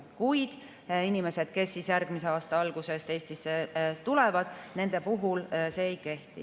Kuid inimeste kohta, kes alates järgmise aasta algusest Eestisse tulevad, see ei kehti.